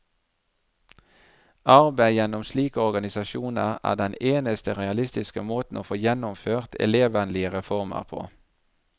Arbeid gjennom slike organisasjoner er den eneste realistiske måten å få gjennomført elevvennlige reformer på.